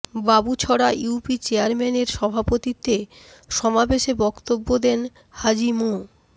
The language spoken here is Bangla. বাবুছড়া ইউপি চেয়ারম্যানের সভাপতিত্বে সমাবেশে বক্তব্য দেন হাজি মো